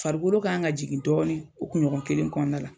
Farikolo kan ŋa jigin dɔɔnin o kuɲɔgɔn kelen kɔɔna la.